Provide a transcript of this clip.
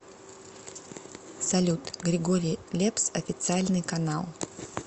салют григорий лепс официальный канал